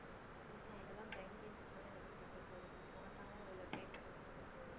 ஆமா இதெல்லாம் brain games தான நமக்கு கொஞ்சம் நம்ம smart ஆவும் அதுல play பண்ணோன்னா நமக்கு